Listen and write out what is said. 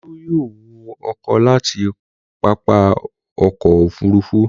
Olú yóò wọ ọkọ̀ láti pápá ọkọ̀-òfurufú.